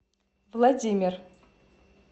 владимир